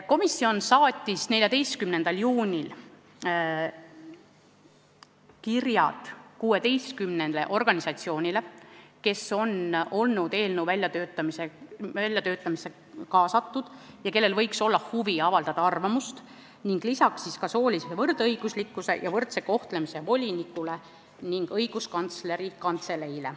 Komisjon saatis 14. juunil kirja 16 organisatsioonile, kes on olnud eelnõu väljatöötamisse kaasatud ja kellel võiks olla huvi avaldada arvamust, ning lisaks soolise võrdõiguslikkuse ja võrdse kohtlemise volinikule ning Õiguskantsleri Kantseleile.